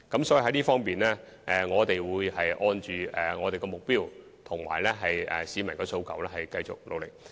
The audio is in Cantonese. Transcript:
所以，在這方面，我們會按既定目標及市民的訴求繼續努力。